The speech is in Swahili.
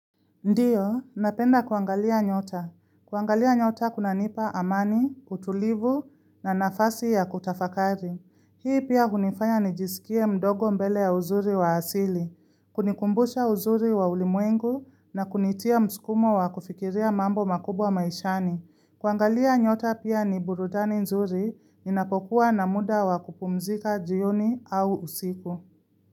Ndiyo, napenda kuangalia nyota. Kuangalia nyota kunanipa amani, utulivu na nafasi ya kutafakari. Hii pia hunifanya nijisikie mdogo mbele ya uzuri wa asili, kunikumbusha uzuri wa ulimwengu na kunitia mskumo wa kufikiria mambo makubwa maishani. Kuangalia nyota pia ni burudani nzuri ninapokuwa na muda wa kupumzika jioni au usiku.